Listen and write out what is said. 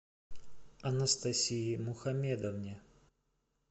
анастасии мухамедовне